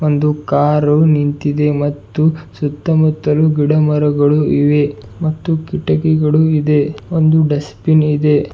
ಒಂದು ಕಾರು ನಿಂತಿದೆ ಮತ್ತು ಸುತ್ತಮುತ್ತಲು ಗಿಡಮರಗಳು ಇವೆ ಮತ್ತು ಕಿಟಕಿಗಳು ಇದೆ ಒಂದು ಡಸ್ಟ್ ಬಿನ್ ಇದೆ.